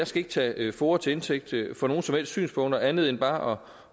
skal ikke tage foa til indtægt for nogen synspunkter andet end bare